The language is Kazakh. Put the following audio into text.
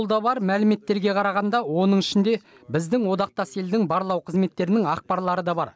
қолда бар мәліметтерге қарағанда оның ішінде біздің одақтас елдің барлау қызметтерінің ақпарлары да бар